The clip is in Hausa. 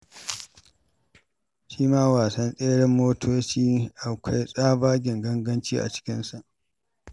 Shi ma wasan tseren mota akwai tsabagen ganganci a cikinsa.